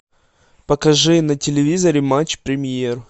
покажи на телевизоре матч премьер